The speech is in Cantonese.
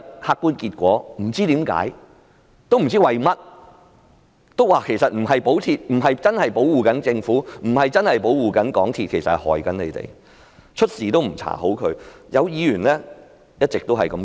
客觀結果是，他們其實不是在保護政府，也不是保護港鐵，而是害了市民，因為明明有問題也不作出調查。